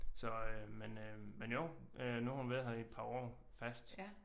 Så øh men øh men jo øh nu har hun været her i et par år fast